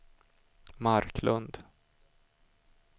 Marklund